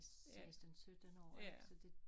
16 17 år ikke så det